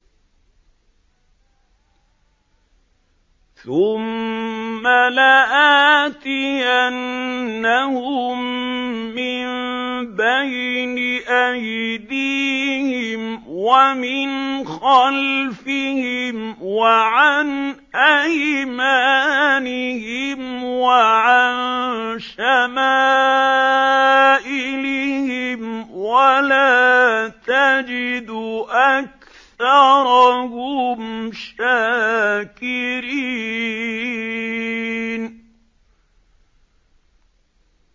ثُمَّ لَآتِيَنَّهُم مِّن بَيْنِ أَيْدِيهِمْ وَمِنْ خَلْفِهِمْ وَعَنْ أَيْمَانِهِمْ وَعَن شَمَائِلِهِمْ ۖ وَلَا تَجِدُ أَكْثَرَهُمْ شَاكِرِينَ